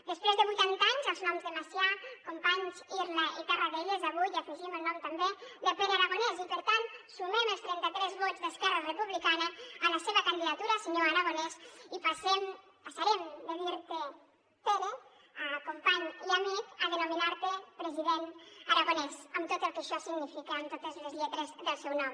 després de vuitanta anys als noms de macià companys irla i tarradellas avui hi afegim el nom també de pere aragonès i per tant sumem els trenta tres vots d’esquerra republicana a la seva candidatura senyor aragonès i passem passarem de dir te pere company i amic a denominar te president aragonès amb tot el que això significa amb totes les lletres del seu nom